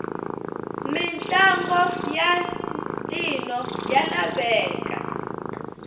mitlangu yantjino yalaveka